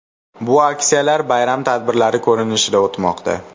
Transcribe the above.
Bu aksiyalar bayram tadbirlari ko‘rinishida o‘tmoqda.